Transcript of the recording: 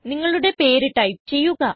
നിങ്ങളുടെ പേര് ടൈപ്പ് ചെയ്യുക